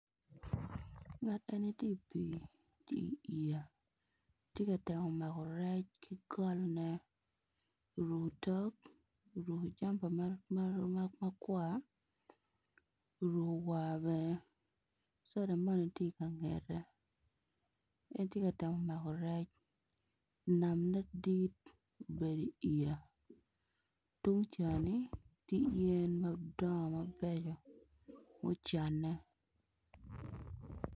Ngat eni tye i pii ki iyeya tye ka temo mako rec ki goli oruko otok, oruko jampa ma kwar orukko war bene soda moni tye ikangette en tye ka temo mako rec namne dit obedo iyeya tungcani tye yen madongo mabeco mucanne.